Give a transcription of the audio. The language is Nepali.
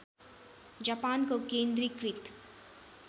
जापानको केन्द्रीकृत